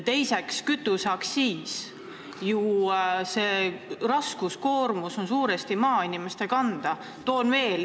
Teine probleem on kõrge kütuseaktsiis, ka see koorem on suuresti maainimeste kanda.